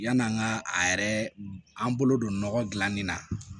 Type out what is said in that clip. Yann'an ka a yɛrɛ an bolo don nɔgɔ dilanni na